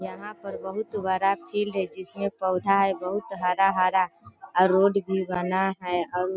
यहाँ पर बहुत बड़ा फील्ड है जिसमे पौधा है बहुत हरा-हरा और रोड भी बना है और --